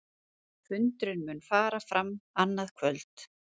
Fundurinn mun fara fram annað kvöld